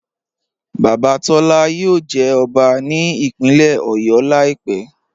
Baba Tọla yóò jẹ́ ọbá ní ìpínlẹ̀ Ọ̀yọ́ laípẹ̀.